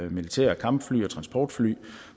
militære kampfly og transportfly